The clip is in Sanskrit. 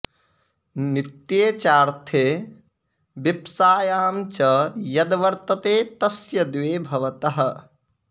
नित्ये चार्थे विप्सायां च यद् वर्तते तस्य द्वे भवतः